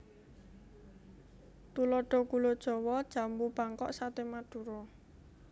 Tuladha gula jawa jambu bangkok saté madura